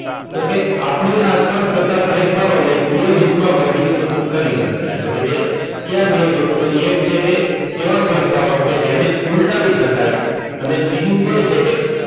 તો કે આપણી આસપાસ થતા ફેરફારોને બે જૂથમાં વર્ગીકૃત કરી શકાય એટલે કે કયા બે જૂથ એટલે કે એવા ફેરફારો એને ઉલટાવી શકાય. અને બીજું એ છે કે,